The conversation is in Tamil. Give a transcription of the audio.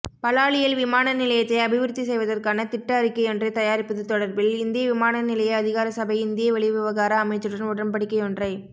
பலாலியில் விமானநிலையத்தை அபிவிருத்தி செய்வதற்கான திட்ட அறிக்கையொன்றை தயாரிப்பது தொடர்பில் இந்திய விமானநிலைய அதிகாரசபை இந்திய வெளிவிவகார அமைச்சுடன் உடன்படிக்கையொன்றை